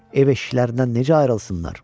Ev-eşiklərindən necə ayrılsınlar?